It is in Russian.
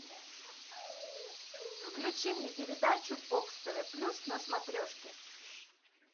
включи мне передачу бокс тв плюс на смотрешке